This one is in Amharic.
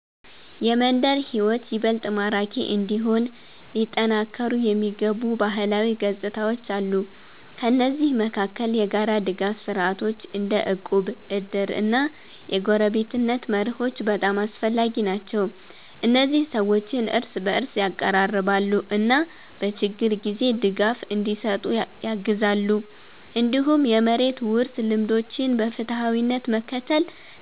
የመንደር ሕይወት ይበልጥ ማራኪ እንዲሆን ሊጠናከሩ የሚገቡ ባህላዊ ገጽታዎች አሉ። ከእነዚህ መካከል የጋራ ድጋፍ ስርዓቶች እንደ እቁብ፣ እድር እና የጎረቤትነት መርሆች በጣም አስፈላጊ ናቸው። እነዚህ ሰዎችን እርስ በእርስ ያቀራርባሉ እና በችግር ጊዜ ድጋፍ እንዲሰጡ ያግዛሉ። እንዲሁም የመሬት ውርስ ልምዶችን በፍትሃዊነት መከተል